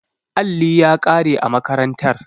Alli ya kare a makarantar.